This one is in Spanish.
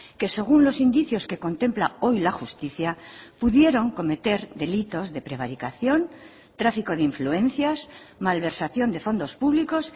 que según los indicios que contempla hoy la justicia pudieron cometer delitos de prevaricación tráfico de influencias malversación de fondos públicos